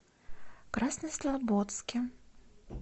краснослободске